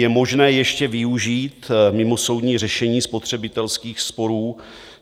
Je možné ještě využít mimosoudní řešení spotřebitelských sporů.